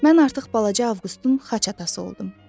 Mən artıq balaca Avqustun xaç atası oldum.